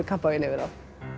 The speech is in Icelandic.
kampavíni yfir þá